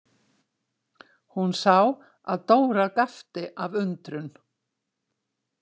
Hún sá að Dóra gapti af undrun.